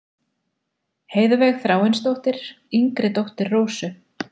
Heiðveig Þráinsdóttir, yngri dóttir Rósu.